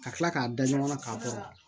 Ka tila k'a da ɲɔgɔn na k'a bɔ